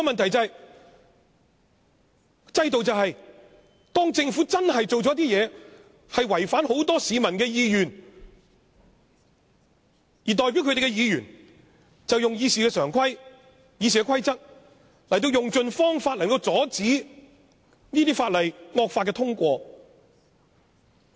可是，制度就是當政府做了一些事情，將會違反很多市民的意願，代表他們的議員就應該根據《議事規則》，用盡方法阻止惡法通過。